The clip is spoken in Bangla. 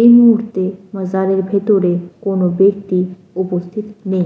এই মুহূর্তে মাজারের ভেতরে কোন ব্যক্তি উপস্থিত নেই।